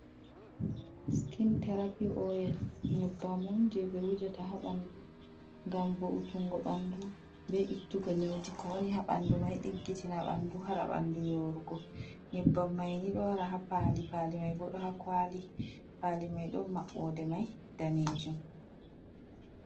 Skin terapi oil nyebbam on je ɓe wujata ha ɓandu, ngam vo’utungo ɓandu be ittugo nyauji ko woni ha ɓandu mai diggitina ɓandu haɗa bandu yorugo, nyeɓbam mai ni ɗo wara ha pali pali mai bo ɗo ha kwali pali mai ɗon mabɓode mai danejum.